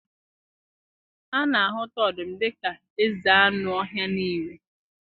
A na-ahụta ọdụm dị ka eze anụ ọhịa nile.